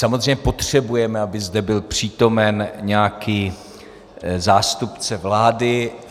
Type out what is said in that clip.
Samozřejmě potřebujeme, aby zde byl přítomen nějaký zástupce vlády.